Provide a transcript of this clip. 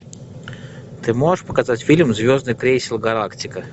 ты можешь показать фильм звездный крейсер галактика